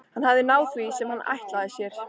Hann hafði náð því sem hann ætlaði sér.